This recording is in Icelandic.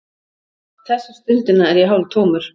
Þessa stundina er ég hálftómur.